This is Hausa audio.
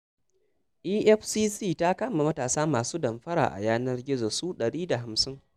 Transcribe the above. EFCC ta kama matasa masu damfara a yanar gizo su ɗari da hamsin.